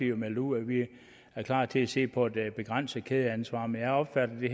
jo meldt ud at vi er klar til at se på et begrænset kædeansvar men jeg opfatter det